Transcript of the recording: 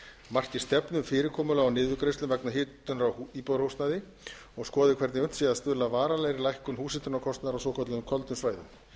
marki stefnu um fyrirkomulag á niðurgreiðslum vegna hitunar á íbúðarhúsnæði og skoði hvernig unnt sé að stuðla að varanlegri lækkun húshitunarkostnaðar á svokölluðum köldum svæðum